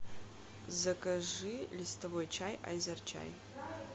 закажи листовой чай азер чай